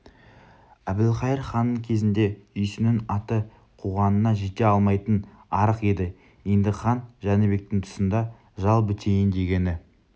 әбілқайыр ханның кезінде үйсіннің аты қуғанына жете алмайтын арық еді енді хан жәнібектің тұсында жал бітейін дегені